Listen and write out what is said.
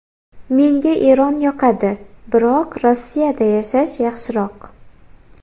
Menga Eron yoqadi, biroq Rossiyada yashash yaxshiroq”.